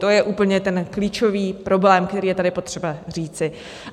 To je úplně ten klíčový problém, který je tady potřeba říci.